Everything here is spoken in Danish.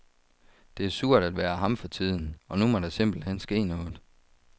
Det er surt at være ham for tiden, og nu må der simpelt hen ske noget.